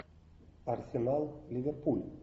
арсенал ливерпуль